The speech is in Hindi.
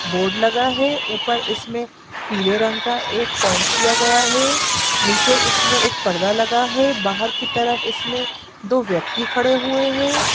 बोर्ड लगा है ऊपर इसमें पीले रंग का एक पेंट किया गया है नीचे इसमें एक पर्दा लगा है बाहर के तरफ इसमें दो व्यक्ति खड़े हुए हैं।